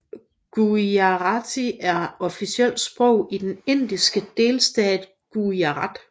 Gujarati er officielt sprog i den Indiske delstat Gujarat